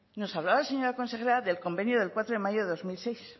nos hablaba la señora consejera del convenio de cuatro de mayo de dos mil seis